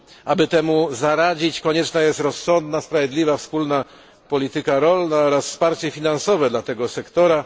Aby temu zaradzić, konieczna jest rozsądna, sprawiedliwa wspólna polityka rolna oraz wsparcie finansowe dla tego sektora.